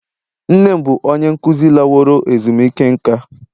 Nne m bụ onye nkuzi laworo ezumike nka